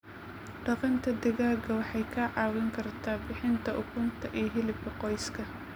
Dhaqashada digaaga waxay kaa caawin kartaa bixinta ukunta iyo hilibka qoyska.